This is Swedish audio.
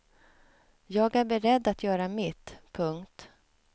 Jag är beredd att göra mitt. punkt